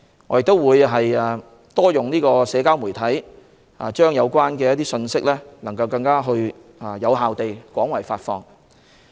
我們會更多利用社交媒體，令信息能更有效地廣為發放。